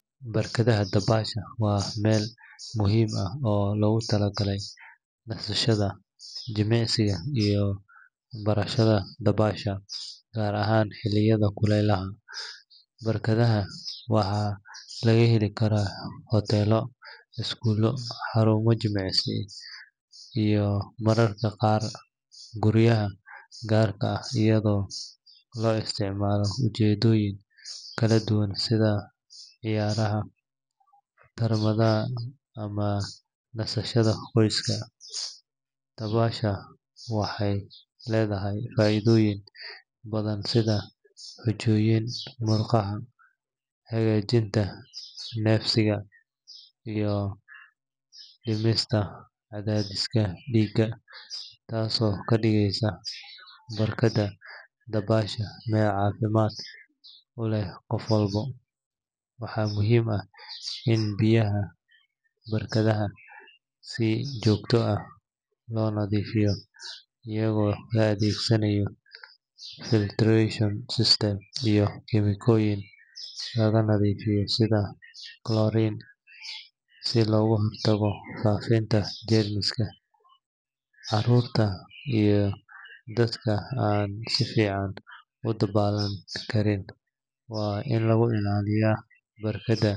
Barkadda dabaasha waa meel muhiim ah oo loogu talagalay nasashada, jimicsiga, iyo barashada dabaasha gaar ahaan xilliyada kulaylaha. Barkadaha waxaa laga heli karaa hoteelo, iskuulo, xarumo jimicsi, iyo mararka qaar guryaha gaarka ah, iyadoo loo isticmaalo ujeedooyin kala duwan sida ciyaaraha, tartamada, ama nasashada qoyska. Dabaasha waxay leedahay faa’iidooyin badan sida xoojinta murqaha, hagaajinta neefsiga, iyo dhimista cadaadiska dhiigga, taasoo ka dhigaysa barkadda dabaasha meel caafimaad u leh qof walba. Waxaa muhiim ah in biyaha barkadda si joogto ah loo nadiifiyo iyadoo la adeegsanayo filtration system iyo kiimikooyin lagu nadiifiyo sida chlorine si looga hortago faafidda jeermiska. Carruurta iyo dadka aan si fiican u dabaalan karin waa in lagu ilaaliyaa barkadda.